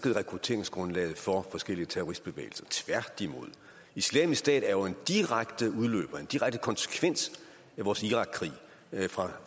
rekrutteringsgrundlaget for forskellige terroristbevægelser tværtimod islamisk stat er jo en direkte udløber en direkte konsekvens af vores irakkrig fra